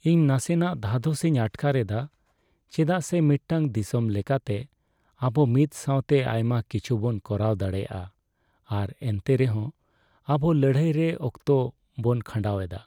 ᱤᱧ ᱱᱟᱥᱮᱱᱟᱜ ᱫᱷᱟᱫᱚᱥᱤᱧ ᱟᱴᱠᱟᱨ ᱮᱫᱟ ᱪᱮᱫᱟᱜᱼᱥᱮ ᱢᱤᱫᱴᱟᱝ ᱫᱤᱥᱚᱢ ᱞᱮᱠᱟᱛᱮ ᱟᱵᱚ ᱢᱤᱫ ᱥᱟᱣᱛᱮ ᱟᱭᱢᱟ ᱠᱤᱪᱷᱩᱵᱚᱱ ᱠᱚᱨᱟᱣ ᱫᱟᱲᱮᱭᱟᱜᱼᱟ ᱟᱨ ᱮᱱᱨᱮᱦᱚᱸ ᱟᱵᱚ ᱞᱟᱹᱲᱦᱟᱹᱭ ᱨᱮ ᱚᱠᱛᱚ ᱵᱚᱱ ᱠᱷᱟᱸᱰᱟᱣ ᱮᱫᱟ ᱾